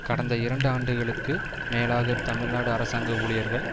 கடந்த இரண்டு ஆண்டுகளுக்கு மேலாக தமிழ்நாடு அரசாங்க ஊழியர்கள்